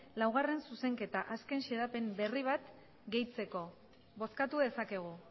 laugarren zuzenketa azken xedapen berri bat gehitzeko bozkatu dezakegu